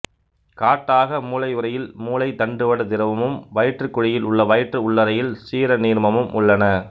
காட்டாக மூளையுறையில் மூளை தண்டுவட திரவமும் வயிற்றுக் குழியில் உள்ள வயிற்று உள்ளறையில் சீர நீர்மமும் உள்ளன